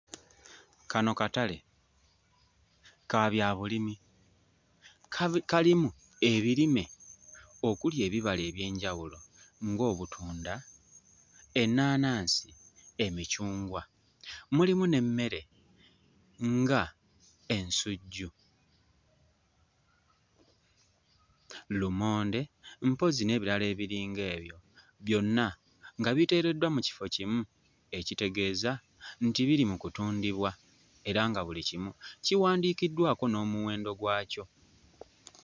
Kano katale kabyabulimi kabi kalimu ebirime okuli ebibala eby'enjawulo ng'obutunda, ennaanansi, emicungwa. Mulimu n'emmere nga ensujju, lumonde, mpozzi n'ebirala ebiringa byo byonna nga biteereddwa mu kifo kimu ekitegeeza nti biri mu kutundibwa era nga buli kimu kiwandiikiddwako n'omuwendo gwakyo.